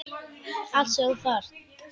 Allt sem þú þarft.